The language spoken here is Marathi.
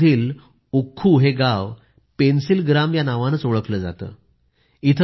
पुलवामा मधील उक्खू हे गाव पेन्सिल ग्राम ह्या नावानेच ओळखले जाते